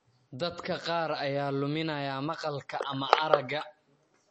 Dadka qaar ayaa luminaya maqalka ama aragga.